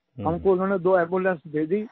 हमको उन्होंने दो एम्बुलेंस दे दी